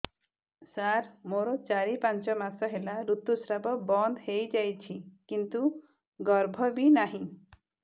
ସାର ମୋର ଚାରି ପାଞ୍ଚ ମାସ ହେଲା ଋତୁସ୍ରାବ ବନ୍ଦ ହେଇଯାଇଛି କିନ୍ତୁ ଗର୍ଭ ବି ନାହିଁ